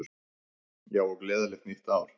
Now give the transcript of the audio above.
Já, og gleðilegt nýtt ár!